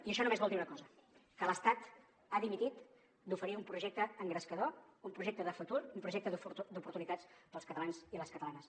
i això només vol dir una cosa que l’estat ha dimitit d’oferir un projecte engrescador un projecte de futur un projecte d’oportunitats per als catalans i les catalanes